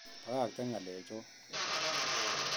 Bakakten nga'lechon